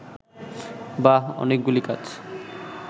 বা অনেকগুলি কাজ